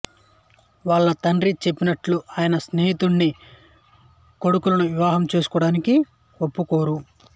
వాళ్ళు తండ్రి చెప్పినట్లు ఆయన స్నేహితుడి కొడుకులను వివాహం చేసుకోవడానికి ఒప్పుకోరు